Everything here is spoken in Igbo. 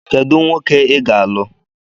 Kedu nwoke ị ga-alụ?